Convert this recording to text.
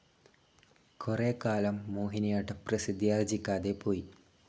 കുറേക്കാലം മോഹിനിയാട്ടം പ്രസിദ്ധിയാർജിക്കാതെ പോയി.